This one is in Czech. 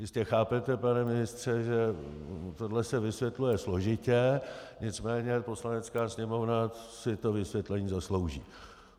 Jistě chápete, pane ministře, že tohle se vysvětluje složitě, nicméně Poslanecká sněmovna si to vysvětlení zaslouží.